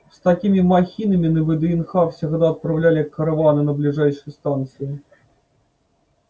с такими махинами на вднх всегда отправляли караваны на ближайшие станции